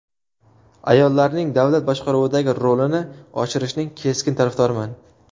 Ayollarning davlat boshqaruvidagi rolini oshirishning keskin tarafdoriman.